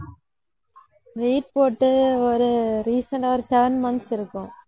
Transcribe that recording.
weight போட்டு ஒரு recent ஆ ஒரு seven months இருக்கும்